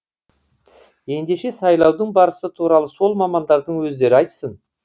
ендеше сайлаудың барысы туралы сол мамандардың өздері айтсын